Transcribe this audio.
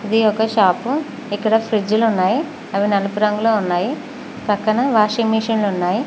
ఇది ఒక షాపు ఇక్కడ ఫ్రిడ్జ్ లు ఉన్నాయి అవి నలుపు రంగులో ఉన్నాయి పక్కన వాషింగ్ మిషన్లు ఉన్నాయి.